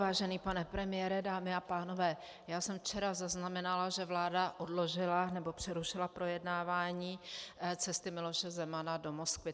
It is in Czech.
Vážený pane premiére, dámy a pánové, já jsem včera zaznamenala, že vláda odložila, nebo přerušila projednávání cesty Miloše Zemana do Moskvy.